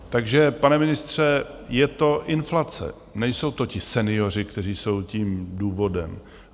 Takže pane ministře, je to inflace, nejsou to ti senioři, kteří jsou tím důvodem.